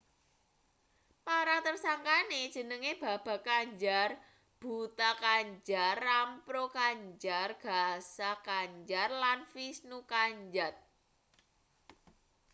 para tersangkane jenenge baba kanjar bhutha kanjar rampro kanjar gaza kanjar lan vishnu kanjat